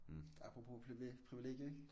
Apropos privilegier ik?